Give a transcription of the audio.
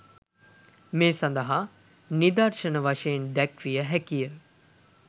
මේ සඳහා නිදර්ශන වශයෙන් දැක්විය හැකිය.